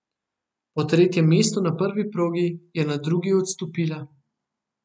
Po tretjem mestu na prvi progi je na drugi odstopila.